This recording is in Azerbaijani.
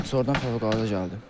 Sonradan fövqəladə gəldi.